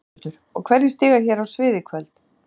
Höskuldur: Og hverjir stíga hér á svið í kvöld?